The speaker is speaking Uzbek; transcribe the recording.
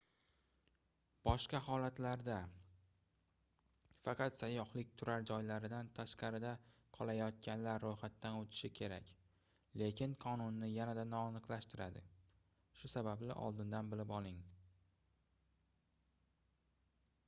boshqa holatlarda faqat sayyohlik turar joylaridan tashqarida qolayotganlar roʻyxatdan oʻtishi kerak lekin qonunni yanada noaniqlashtiradi shu sababli oldindan bilib oling